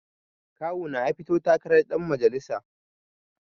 Kawuna ya fito takarar ɗan majalisa